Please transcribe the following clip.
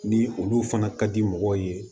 Ni olu fana ka di mɔgɔw ye